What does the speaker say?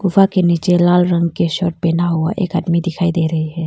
गुफा के नीचे लाल रंग के शर्ट पहना हुआ एक आदमी दिखाई दे रहा है।